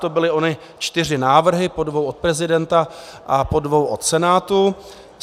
To byly ony čtyři návrhy, po dvou od prezidenta a po dvou od Senátu.